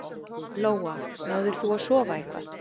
Lóa: Náðir þú að sofa eitthvað?